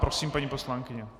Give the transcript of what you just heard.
Prosím, paní poslankyně.